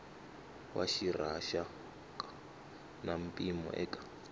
wa rixaka na mpimo eka